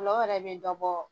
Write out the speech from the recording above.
Nɔgɔ yɛrɛ bɛ dɔ bɔ